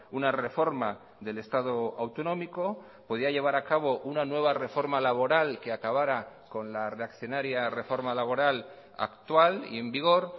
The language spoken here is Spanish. una reforma del estado autonómico podía llevar a cabo una nueva reforma laboral que acabara con la reaccionaria reforma laboral actual y en vigor